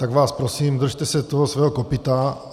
Tak vás prosím, držte se toho svého kopyta.